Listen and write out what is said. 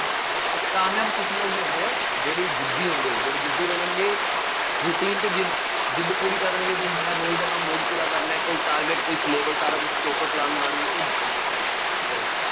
ਕਾਮਯਾਬ ਕੁੱਛ ਲੋਕ ਹੀ ਹੁੰਦੇ ਆ, ਜਿਹੜੇ ਜ਼ਿੱਦੀ ਹੁੰਦੇ ਆ, ਜਿਹੜੇ ਜ਼ਿੱਦੀ ਬਣਨਗੇ, ਰੂਟੀਨ ਚ ਜ਼ਿੱਦ ਜਿੱਦ ਪੂਰੀ ਕਰਨਗੇ ਬਈ ਹਾਂ ਯਾਰ ਰੋਜ਼ ਦਾ ਕੰਮ ਰੋਜ਼ ਪੂਰਾ ਕਰਨਾ ਹੈ, ਕੋਈ target ਕੋਈ syllabus ਸਾਰਾ ਕੁੱਝ, proper plan ਬਣਾਉਣਗੇ, ਉਹ ਜਿੱਤਣਗੇ, ਧਿਆਨ ਰੱਖਿਉਂ, ਚੱਲੋ,